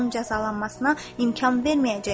Bunun cəzalanmasına imkan verməyəcəyəm.